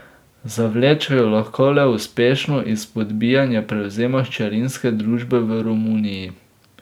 Zavleče jo lahko le uspešno izpodbijanje prevzema hčerinske družbe v Romuniji.